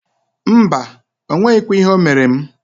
Mbaǃ O nweghikwa ihe o mere m.